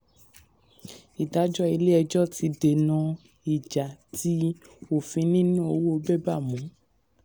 ìdájọ́ ilé ẹjọ́ ti dènà ìjà tí òfin níná owó bébà mú.